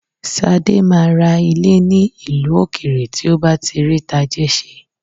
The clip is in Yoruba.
Sadé máa ra ilé ní ìlú òkèèrè tí ó bá ti rí tajé ṣe